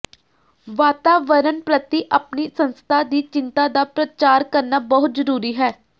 ਵਾਤਾਵਰਣ ਪ੍ਰਤੀ ਆਪਣੀ ਸੰਸਥਾ ਦੀ ਚਿੰਤਾ ਦਾ ਪ੍ਰਚਾਰ ਕਰਨਾ ਬਹੁਤ ਜ਼ਰੂਰੀ ਹੈ